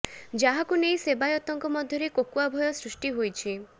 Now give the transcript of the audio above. ଯାହାକୁ ନେଇ ସେବାୟତଙ୍କ ମଧ୍ୟରେ କୋକୁଆ ଭୟ ସୃଷ୍ଟି ହୋଇଛି